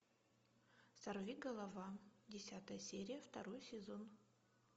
сорви голова десятая серия второй сезон